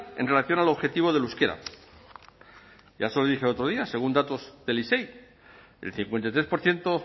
en relación al objetivo del euskera ya se lo dije el otro día según datos del isei el cincuenta y tres por ciento